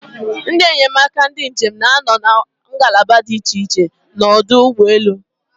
Ndị enyemaka ndị njem na-anọ na ngalaba dị iche iche n'ọdụ ụgbọelu.